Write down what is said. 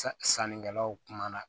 Sannikɛlaw kumana